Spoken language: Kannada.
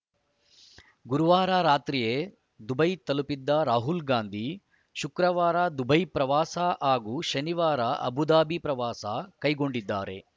ಗುರುವಾರ ರಾತ್ರಿಯೇ ದುಬೈ ತಲುಪಿದ್ದ ರಾಹುಲ್‌ ಗಾಂಧಿ ಶುಕ್ರವಾರ ದುಬೈ ಪ್ರವಾಸ ಹಾಗೂ ಶನಿವಾರ ಅಬುಧಾಬಿ ಪ್ರವಾಸ ಕೈಗೊಂಡಿದ್ದಾರೆ